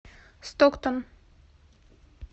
стоктон